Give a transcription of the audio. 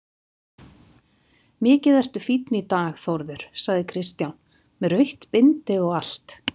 Mikið ertu fínn í dag Þórður, sagði Kristján, með rautt bindi og allt.